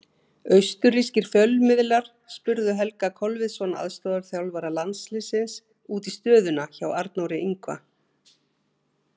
Austurrískir fjölmiðlar spurðu Helga Kolviðsson, aðstoðarþjálfara landsliðsins, út í stöðuna hjá Arnóri Ingva.